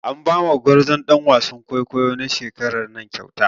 An ba ma gwarzon ɗan wasan kwaikwayo na shekaran nan kyauta.